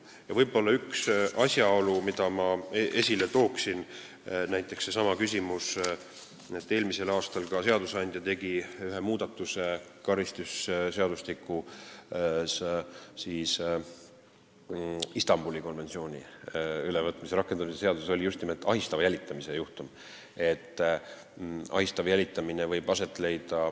Ma toon esile veel ühe asjaolu: eelmisel aastal tegi seadusandja muudatuse karistusseadustikus, ma räägin Istanbuli konventsiooni ülevõtmisest, see oli seotud just nimelt nende ahistava jälitamise juhtumitega.